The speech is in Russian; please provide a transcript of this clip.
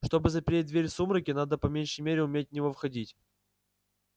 чтобы запереть дверь в сумраке надо по меньшей мере уметь в него входить